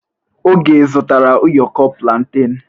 Oge zụtara ụyọkọ plantain?